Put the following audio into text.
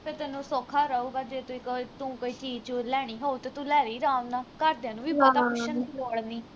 ਤੇ ਤੈਨੂੰ ਸੌਖਾ ਰਹੂੰਗਾ ਜੇ ਤੁਹੀ ਤੂੰ ਕੋਈ ਚੀਜ ਚੂਜ ਲੈਣੀ ਹੋਊ ਤੂੰ ਤੇ ਲੈ ਲਈ ਅਰਾਮ ਨਾਲ ਘਰਦਿਆਂ ਨੂੰ ਵੀ ਪੁੱਛਣ ਦੀ ਲੋੜ ਨੀ